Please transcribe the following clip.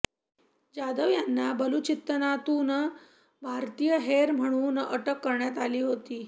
जाधव यांना बलुचिस्तानातून भारतीय हेर म्हणून अटक करण्यात आली होती